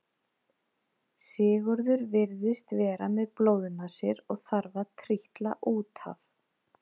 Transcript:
Sigurður virðist vera með blóðnasir og þarf að trítla út af.